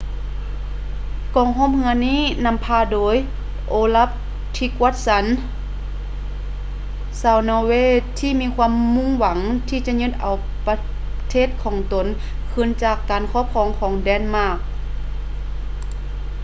ກອງເຮືອຮົບນີ້ ນຳພາໂດຍ ໂອລັບ ທຼີກວັດສັນ olaf trygvasson ຊາວນໍເວທີ່ມີຄວາມມຸ່ງຫວັງທີ່ຈະຍຶດເອົາປະເທດຂອງຕົນຄືນຈາກການຄອບຄອງຂອງ ເເດນມາກ